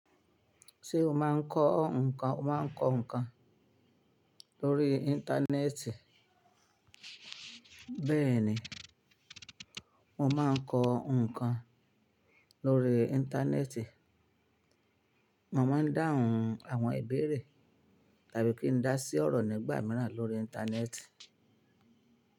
Ṣé o máa ń kọ́ nǹkan, o màá ń kọ nǹkan lórí íńtánẹ́ẹ̀tì? Bẹ́ẹ̀ni, mo máa ń kọ nǹkan lórí íńtánẹ́ẹ̀tì. Mo máa ń dáhùn àwọn ìbéèrè tàbí kí n dá sí ọ̀rọ̀ nígbà míràn lórí íńtánẹ́ẹ̀tì.